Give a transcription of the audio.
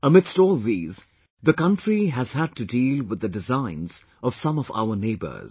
Amidst all these, the country has had to deal with the designs of some of our neighbours